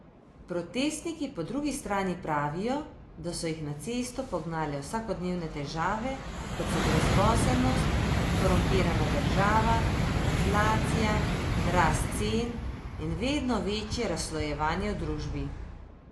Protestniki po drugi strani pravijo, da so jih na cesto pognale vsakodnevne težave, kot so brezposelnost, korumpirana država, inflacija, rast cen in vedno večje razslojevanje v družbi.